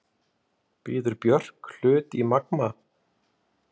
Býður Björk hlut í Magma